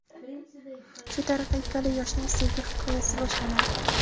Shu tariqa ikkala yoshning sevgi hikoyasi boshlanadi.